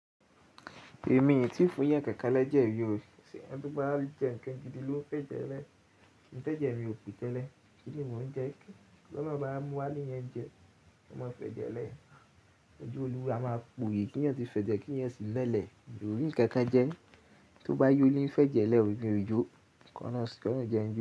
Èmi ìyẹn tí ń fún yẹn kéékèké lẹ́jẹ̀ yóò ṣe, ẹni tí ó bá jẹ ńǹkan jiju ló ń fẹ́ jẹ́lẹ̀. Ìtẹ́jẹ̀ mi ò kú tẹ́lẹ̀, kí ni mò ń jẹ? Ọlọ́run bá mú wá lè yẹn jẹ, ó máa fẹ́ jẹ́lẹ̀. Ojú Oluwa máa po òye kí ènìyàn tí fẹ́ jẹ kí ènìyàn sì lélẹ̀. Òbí ǹkan kan jẹ ni, tó bá yóò lé ìfẹ́ jẹ́lẹ̀, òpin ò jó. Kàn án sọ, kàn án jẹ́ ń jẹ.